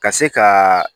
Ka se ka